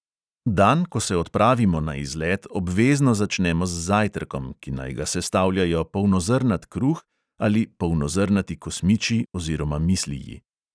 Dan, ko se odpravimo na izlet, obvezno začnemo z zajtrkom, ki naj ga sestavljajo polnozrnat kruh ali polnozrnati kosmiči oziroma misliji.